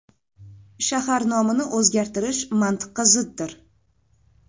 Shahar nomini o‘zgartirish mantiqqa ziddir.